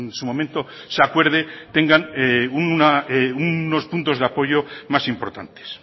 su momento se acuerde tengan unos puntos de apoyo más importantes